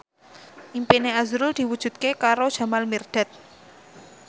impine azrul diwujudke karo Jamal Mirdad